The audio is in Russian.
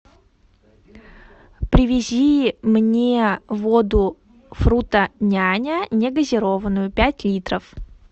привези мне воду фрутоняня негазированную пять литров